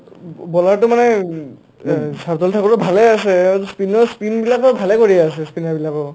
bowler টো মানে শাৰ্দুল ঠাকুৰো ভালে আছে আৰু অ spin অ' spin বিলাকো ভালে কৰি আছে spinner বিলাকৰো